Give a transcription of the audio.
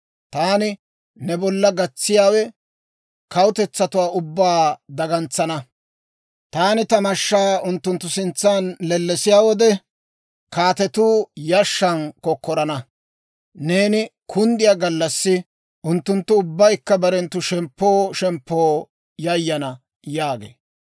Taani ne bolla gatsiyaawe kawutetsatuwaa ubbaa dagantsana. Taani ta mashshaa unttunttu sintsan lellesiyaa wode, kaatetuu yashshan kokkorana; neeni kunddiyaa gallassi unttunttu ubbaykka barenttu shemppoo shemppoo yayana» yaagee.